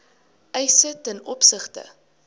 eise ten opsigte